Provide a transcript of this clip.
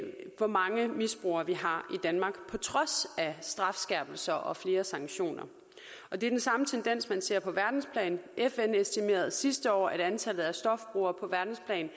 hvor mange misbrugere vi har i danmark kun på trods af strafskærpelser og flere sanktioner det er den samme tendens man ser på verdensplan fn estimerede sidste år at antallet af stofbrugere på verdensplan